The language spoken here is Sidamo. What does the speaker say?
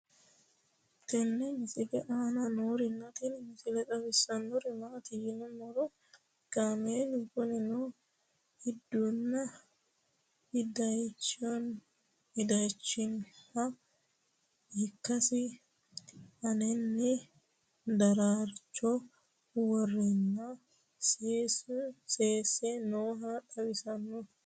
tenne misile aana noorina tini misile xawissannori maati yinummoro kaammelu kuninno iddunna idayiichchonniha ikkassi aannaanni daraaricho woreenna seese nooha xawissanno